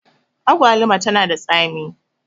agwaluma tana da tsami